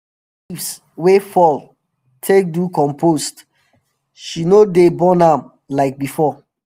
she dey collect leaves wey fall take do compost she no dey burn am like before